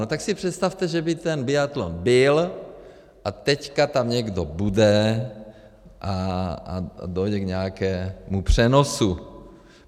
No tak si představte, že by ten biatlon byl, a teď tam někdo bude a dojde k nějakému přenosu.